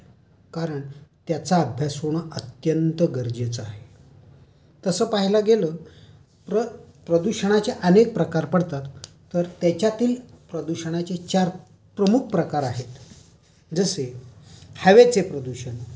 कारण त्याचा अभ्यास होणं अत्यंत गरजेचं आहे. तसं पाहायला गेलं प्रदूषणाचे अनेक प्रकार पडतात. तर त्याच्यातील प्रदूषणाचे चार प्रमुख प्रकार आहेत जसे हवेचे प्रदूषण,